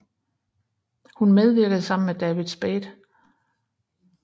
Hun medvirkede sammen med David Spade